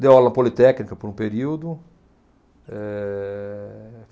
Deu aula politécnica por um período. Eh